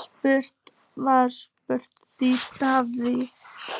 Spurt var, styður þú Davíð